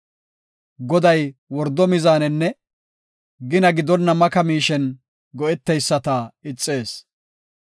Goday wordo mizaanenne gina gidonna maka miishen go7eteyisata ixees.